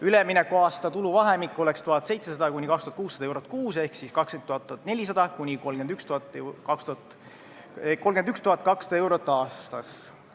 Üleminekuaasta tuluvahemik oleks 1700–2600 eurot kuus ehk 20 400 – 31 200 eurot aastas.